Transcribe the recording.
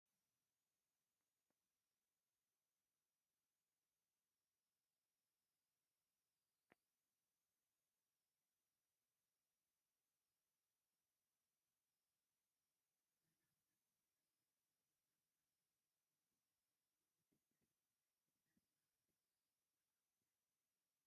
ባህላዊ ክዳን ዝተከደኑ መርዑት ምስ ባህላዊ ኪዳን ዝተከደኑ ሰባት ይስዕስዑ ኣለዉ ። እቲ ዳስ መብራህቲ ኣለዎ ። መርዓ እንታይ ጥቅሚ እልዎ ?